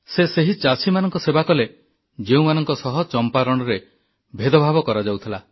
ସେ ସେହି ଚାଷୀମାନଙ୍କ ସେବା କଲେ ଯେଉଁମାନଙ୍କ ସହ ଚମ୍ପାରଣରେ ଭେଦଭାବ କରାଯାଉଥିଲା